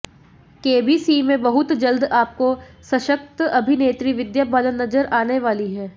KBC में बहुत जल्द आपको सशक्त अभिनेत्री विद्या बालन नजर आने वाली हैं